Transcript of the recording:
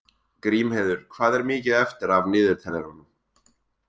Grímheiður, hvað er mikið eftir af niðurteljaranum?